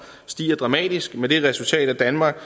stiger dramatisk med det resultat at danmark